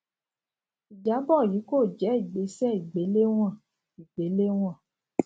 ijabọ yii ko je igbese igbelewọn igbelewọn